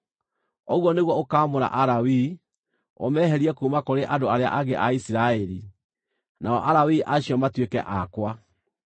Ũguo nĩguo ũkaamũra Alawii, ũmeherie kuuma kũrĩ andũ arĩa angĩ a Isiraeli, nao Alawii acio matuĩke akwa.